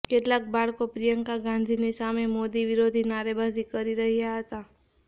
કેટલાક બાળકો પ્રિયંકા ગાંધીની સામે મોદી વિરોધી નારેબાજી કરી રહ્યાં હતા